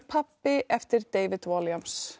pabbi eftir David